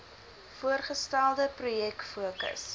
voorgestelde projek fokus